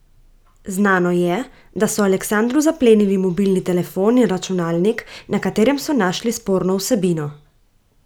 Znano je, da so Aleksandru zaplenili mobilni telefon in računalnik, na katerem so našli sporno vsebino.